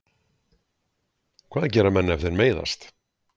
Hvað gera menn ef þeir meiðast?